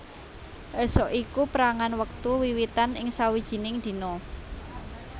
Ésuk iku pérangan wektu wiwitan ing sawijining dina